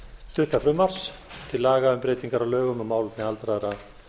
stutta frumvarps til laga um breytingar á lögum um málefni aldraðra